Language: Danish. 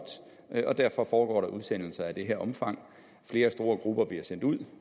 tone og derfor foregår der udsendelser af det her omfang flere store grupper bliver sendt ud